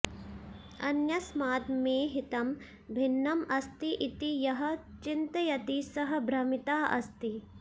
अन्यस्मात् मे हितं भिन्नम् अस्ति इति यः चिन्तयति सः भ्रमितः अस्ति